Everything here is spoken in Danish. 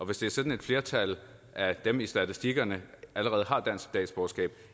hvis det er sådan at et flertal af dem i statistikkerne allerede har dansk statsborgerskab